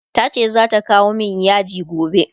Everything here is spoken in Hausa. tace zata kawo min yaji gobe